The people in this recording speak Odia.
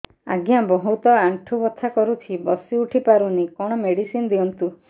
ଆଜ୍ଞା ବହୁତ ଆଣ୍ଠୁ ବଥା କରୁଛି ବସି ଉଠି ପାରୁନି କଣ ମେଡ଼ିସିନ ଦିଅନ୍ତୁ